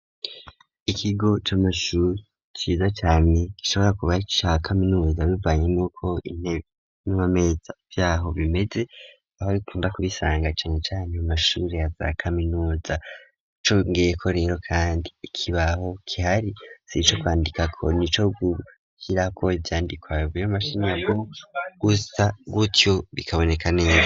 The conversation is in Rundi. Ikigo c'amashuri ciza cane gishobora kuba ari ica kaminuza, bivanye n'uko intebe n'amameza vyaho bimeze, aho bikunda kubisanga cane cane mu mashuri yaza kaminuza, congeyeko rero kandi ikibaho gihari sico kwandikako, nico gushirako ivyandikwa bivuye mu mashiramwe, gusa gutyo bikaboneka neza.